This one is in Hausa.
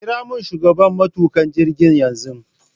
Kira shugaban matuƙa jirgin yanzu